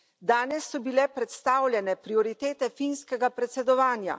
Danes so bile predstavljene prioritete finskega predsedovanja.